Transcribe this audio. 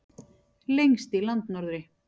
Lengst í landnorðri.